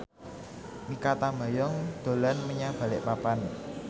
Mikha Tambayong dolan menyang Balikpapan